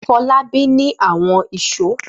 Fọlábí ní àwọn ìṣó.